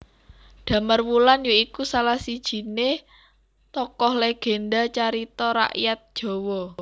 Damarwulan ya iku salah sijiné tokoh legénda carita rakyat Jawa